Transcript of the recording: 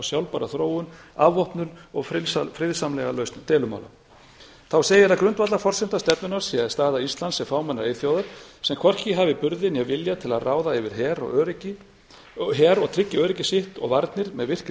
sjálfbæra þróun afvopnun og friðsamlega lausn deilumála þá segir að grundvallarforsenda stefnunnar sé staða íslands sem fámennrar eyþjóðar sem hvorki hafi burði né vilja til að ráða yfir her og tryggi öryggi sitt og varnir með virku samráði